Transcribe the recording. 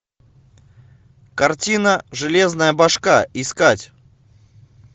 картина железная башка искать